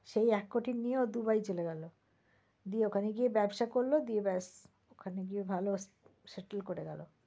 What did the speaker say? সেই এক কোটি ও নিয়ে দুবাই চলে গেল। গিয়ে ওখানে গিয়ে ব্যবসা করল গিয়ে ব্যাস ওখানে গিয়ে ভাল settle করে গেল।